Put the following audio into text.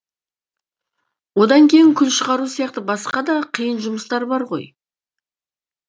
одан кейін күл шығару сияқты басқа да қиын жұмыстар бар ғой